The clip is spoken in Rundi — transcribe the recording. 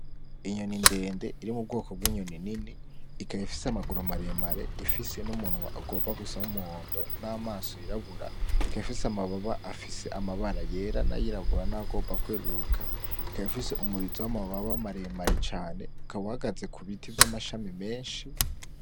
Inyoni ndende iri mu bwoko bw’inyoni nini ikaba ifise amaguru maremare, ifise n’umunwa ugomba gusa n’umuhondo n’amaso yirabura, ikaba ifise amababa yera n’a yirabura n’ayagomba kweruruka, ikaba ifise umurizo w’amababa maremare cane, ukaba uhagaze ku biti vy’amashami menshi.